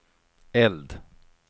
eld